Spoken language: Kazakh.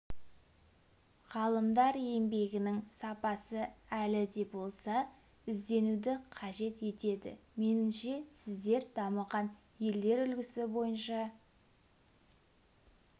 ғалымдар еңбегінің сапасы әлі де болса ізденуді қажет етеді меніңше сіздер дамыған елдер үлгісі бойынша